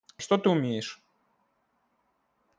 что ты умеешь